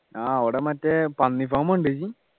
ആഹ് അവിടെ മറ്റേ പന്നി farm കണ്ടാ നീയ്യ്